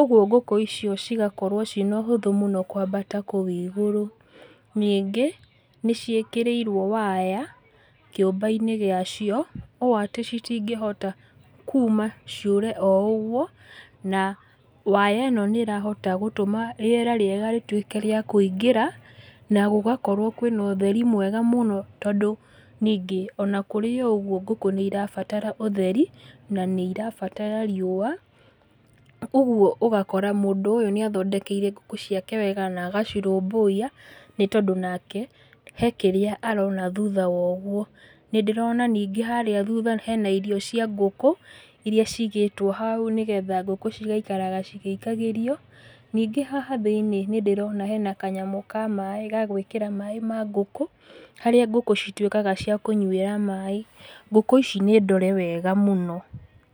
Ũguo ngũkũ icio cigakorwo ciĩna ũhũthũ mũno kwambata kũu igũrũ, ningĩ nĩciĩkĩrĩirwo waya kĩũmba-inĩ gĩa cio, ũ atĩ citingĩhota kuma ciũre o ũguo, na waya ĩno nĩrahota gũtũma rĩera rĩega rĩtuĩke rĩa kũingĩra, na gũgakorwo kwĩna ũtheri mwega mũno tondũ ningĩ ona kũrĩ oũguo ngũkũ nĩirabatara ũtheri, na nĩirabatara riũa, ũguo ũgakora mũndũ ũyũ nĩathondekeire ngũkũ ciake wega na agacirũbũiya, nĩ tondũ nake, he kĩrĩa arona thutha wa ũguo. Nĩndĩrona ningĩ harĩa thutha hena irio cia ngũkũ, iria cigĩtwo hau nĩgetha ngũkũ cigaikaraga cigĩikagĩrio, ningĩ haha thĩ-inĩ nĩndĩrona hena kanyamũ ka maĩ, ga gwĩkĩra maĩ ma ngũkũ, harĩa ngũkũ citwĩkaga cia kũnyuĩra mai, ngũkũ ici nĩ ndore wega mũno.